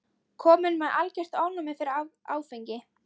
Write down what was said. Kominn með algert ofnæmi fyrir áfengi.